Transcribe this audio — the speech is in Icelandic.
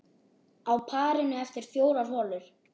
Á parinu eftir fjórar holur.